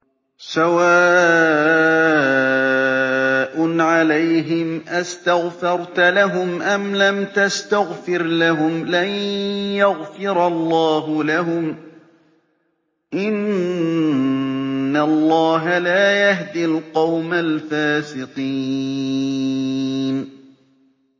سَوَاءٌ عَلَيْهِمْ أَسْتَغْفَرْتَ لَهُمْ أَمْ لَمْ تَسْتَغْفِرْ لَهُمْ لَن يَغْفِرَ اللَّهُ لَهُمْ ۚ إِنَّ اللَّهَ لَا يَهْدِي الْقَوْمَ الْفَاسِقِينَ